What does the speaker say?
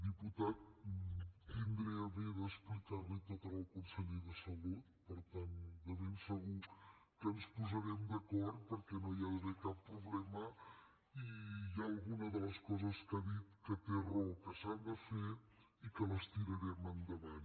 diputat tindré a bé d’explicar li tot al conseller de salut per tant de ben segur que ens posarem d’acord perquè no hi ha d’haver cap problema i hi ha alguna de les coses que ha dit que té raó que s’han de fer i que les tirarem endavant